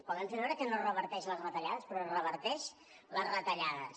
poden fer veure que no es reverteixen les retallades però es reverteixen les retallades